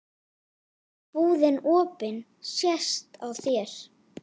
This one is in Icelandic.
Búðin opin sést á þér.